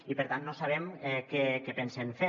i per tant no sabem què pensen fer